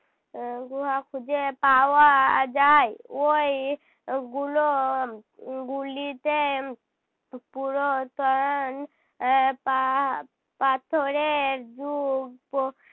আহ গুহা খুঁজে পাওয়া যায়। ওই গুলো উহ গুলিতে পুরোতন আহ পা~ পাথরের যুগ পো